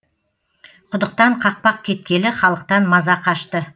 құдықтан қақпақ кеткелі халықтан маза қашты